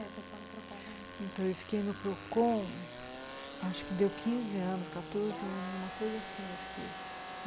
Quanto tempo você ficou no Procon? Então eu fiquei no Procon, acho que deu quinze anos, nossa, quatorze anos, uma coisa assim eu fiquei.